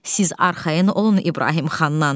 Siz arxayın olun İbrahim xandan.